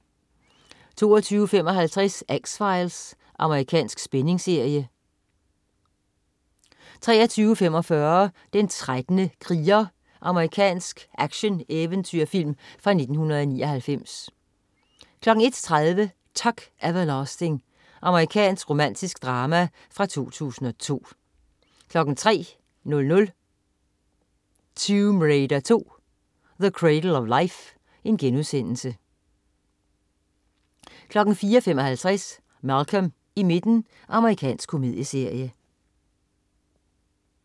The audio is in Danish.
22.55 X-Files. Amerikansk spændingsserie 23.45 Den 13. kriger. Amerikansk actioneventyrfilm fra 1999 01.30 Tuck Everlasting. Amerikansk romantisk drama fra 2002 03.00 Tomb Raider 2: The Cradle of Life* 04.55 Malcolm i midten. Amerikansk komedieserie